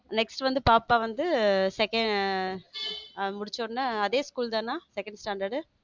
Next வந்து பாப்பா வந்து second முடிச்ச உடனே அதே school தானே second standard.